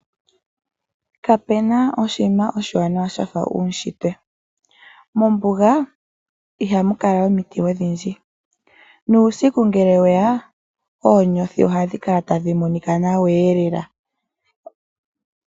Kapena oshinima oshiwanawa shafa uushitwe, mombuga ihamu kala omiti odhindji, nuusiku ngele weya ,oonyothi ohadhi kala tadhi monika nawa.